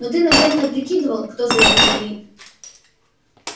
но ты наверное прикидывал кто за этим стоит